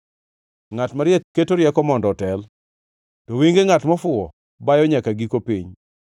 Ngʼat mariek keto rieko mondo otel, to wenge ngʼat mofuwo bayo nyaka giko piny.